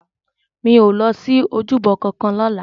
Mi ó lòsi ójúbò kànkàn lòlá